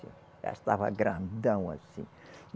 Já estava grandão, assim.